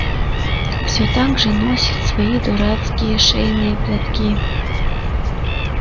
все так же носит свои дурацкие шейные платки